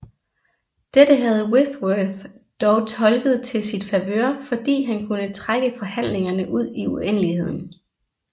Dette havde Whitworth dog tolket til sit favør fordi han kunne trække forhandlingerne ud i uendeligheden